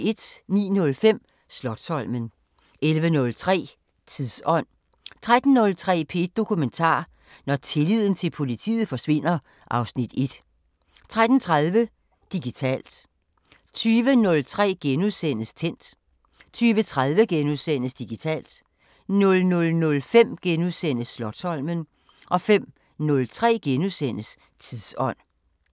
09:05: Slotsholmen 11:03: Tidsånd 13:03: P1 Dokumentar: Når tilliden til politiet forsvinder (Afs. 1) 13:30: Digitalt 20:03: Tændt * 20:30: Digitalt * 00:05: Slotsholmen * 05:03: Tidsånd *